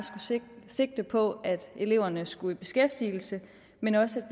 skulle sigte på at eleverne skulle i beskæftigelse men også